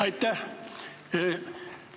Aitäh!